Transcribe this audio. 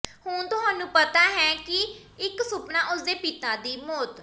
ਹੁਣ ਤੁਹਾਨੂੰ ਪਤਾ ਹੈ ਕਿ ਕੀ ਇੱਕ ਸੁਪਨਾ ਉਸ ਦੇ ਪਿਤਾ ਦੀ ਮੌਤ